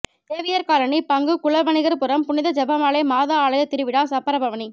Xavier colony பங்கு குலவணிகர்புரம் புனித ஜெபமாலை மாதா ஆலய திருவிழா சப்பர பவனி